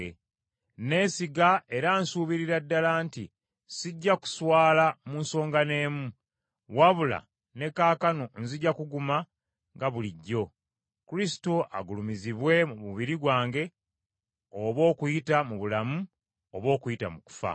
Neesiga era nsubirira ddala nti sijja kuswala mu nsonga n’emu, wabula ne kaakano nzija kuguma nga bulijjo, Kristo agulumizibwe mu mubiri gwange, oba okuyita mu bulamu oba okuyita mu kufa.